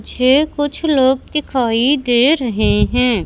छेह कुछ लोग दिखाई दे रहें हैं।